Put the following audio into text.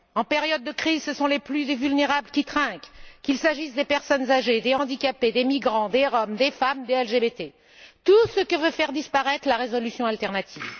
En période de crise, ce sont les plus vulnérables qui trinquent, qu'il s'agisse des personnes âgées, des handicapés, des migrants, des Roms, des femmes ou des LGBT, tout ce que veut faire disparaître la résolution alternative.